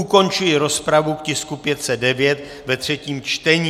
Ukončuji rozpravu k tisku 509 ve třetím čtení.